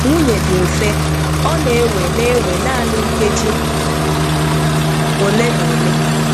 Nwụnye dị mfe, ọ na-ewe na-ewe nanị nkejì ole na ole.